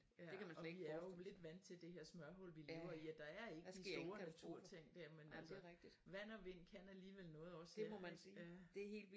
Ja og vi er jo lidt vant til det her smørhul vi lever i at der er ikke de store naturting dér men altså vand og vind kan alligevel noget også her